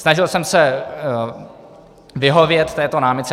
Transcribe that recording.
Snažil jsem se vyhovět této námitce.